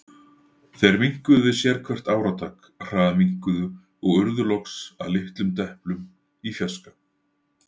Þeir minnkuðu við sérhvert áratak, hraðminnkuðu, og urðu loks að litlum deplum í fjarska.